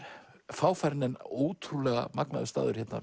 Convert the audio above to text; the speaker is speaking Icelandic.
fáfarinn en ótrúlega magnaður staður hérna